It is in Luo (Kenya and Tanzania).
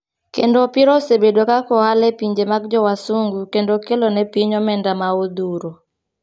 Kendo opira osebedo kaka ohala e pinje mag jo wasungu kendo okelo ne piny omenda ma odhuro.